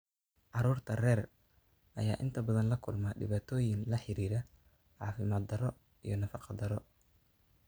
Carruurta rer ayaa inta badan la kulma dhibaatooyin la xiriira caafimaad darro iyo nafaqo darro.